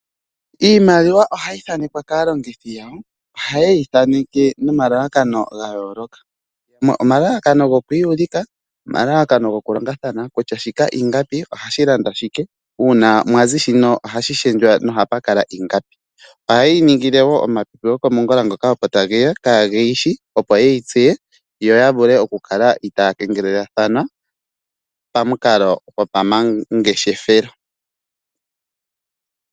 Iimaliwa ohayi thaanekwa kaalongithi yawo, oha yeyi thaaneke nomalalakano ga yooloka, omalalakano gokwiiyulika, omalalakano go kulongathana kutya shika ingapi ohashi landa shike uuna mwazi shino ohashi shendjwa noha pukala ingapi. Oha yeyi ningile woo omapipi goko mongula ngoka opo tageya kaageyishi opo yeyi tseye yoya vule okukala itaaya kengelelathana pamukalo gopamangeshefelo.